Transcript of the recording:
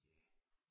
Ja